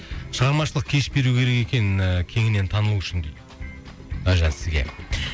шығармашылық кеш беру екен ііі кеңінен танылу үшін дейді әлжан сізге